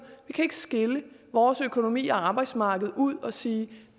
skille vores økonomi og arbejdsmarked ud og sige at